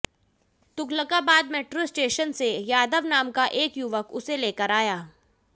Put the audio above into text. Tughlakabad metro station से यादव नाम का एक युवक उसे लेकर आया